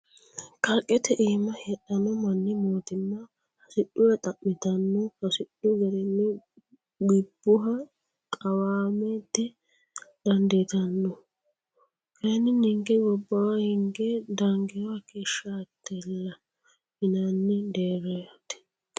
Kalqete iima heedhano manni mootimma hasidhure xa'mittano hasidhu garinni gibbuha qawamate dandiittanno kayinni ninke gobbawa hinge dangiro hakeeshshatilla yinanni deerrati.